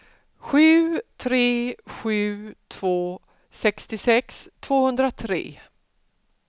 sju tre sju två sextiosex tvåhundratre